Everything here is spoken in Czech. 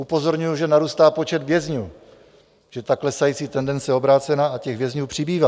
Upozorňuji, že narůstá počet vězňů, že ta klesající tendence je obrácená a těch vězňů přibývá.